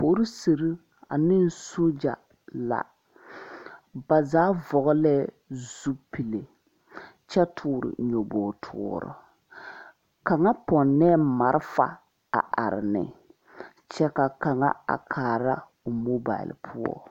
Polisere ane sogya la ba zaa vɔglɛɛ zupile kyɛ toore nyoboge toore kaŋa pɔnnɛɛ malfa a are ne kyɛ ka kaŋa a kaara o mobal poɔ.